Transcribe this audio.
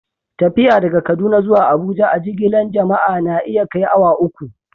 Tafiya daga Kaduna zuwa Abuja a'jigilan jama'a na iya kai awa uku.